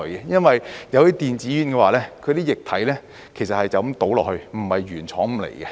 因為電子煙的液體其實是就這樣倒進去，而不是原廠送來。